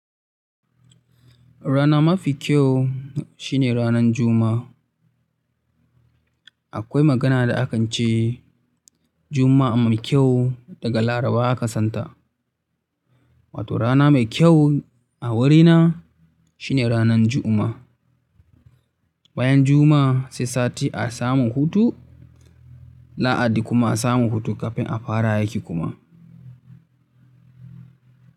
Rana mafi kyau shine ranan Juma'a. Akwai magana da akan ce Juma'a mai kyau daga Laraba aka santa. Wato rana mai kyau a wurina shine ranan Juma'a. Bayan Juma'a sai Sati a samun hutu, Lahadi kuma a samun hutu kafin a fara aiki kuma.